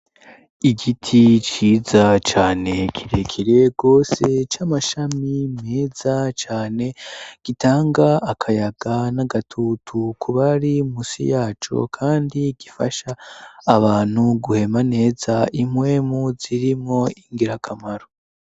Igiti ciza cane kirekire gose c'amashami meza cane gitanga akayaga n'agatutu kubari musi yaco kandi gifasha abantu guhema neza impwemu zirimwo ingira kamaro.